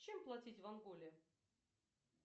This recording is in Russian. чем платить в анголе